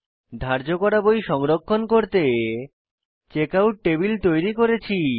ধার্য করা বই সংরক্ষণ করতে চেকআউট টেবিল তৈরী করেছি